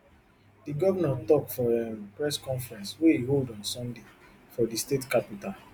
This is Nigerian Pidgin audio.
di govnor tok for um press conference wey e hold on sunday for di state capital